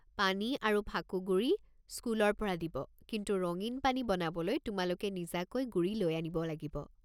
পানী আৰু ফাকুগুড়ি স্কুলৰ পৰা দিব, কিন্তু ৰঙীন পানী বনাবলৈ তোমালোকে নিজাকৈ গুড়ি লৈ আনিব লাগিব।